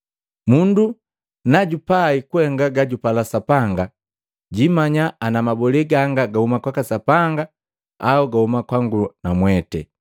Mundu najupai kuhenga gajupala Sapanga, jiimanya ana mabole gangu gahuma kwaka Sapanga, au gahuma kwangu namwete.